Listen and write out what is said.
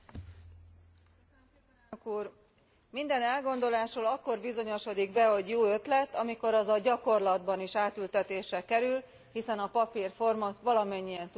Elnök Úr! Minden elgondolásról akkor bizonyosodik be, hogy jó ötlet, amikor az a gyakorlatban is átültetésre kerül, hiszen a papír forma, valamennyien tudjuk, hogy mindent kibír.